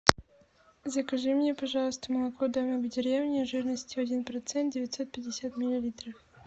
закажи мне пожалуйста молоко домик в деревне жирностью один процент девятьсот пятьдесят миллилитров